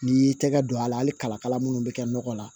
N'i y'i tɛgɛ don a la hali kalakala minnu bɛ kɛ nɔgɔ la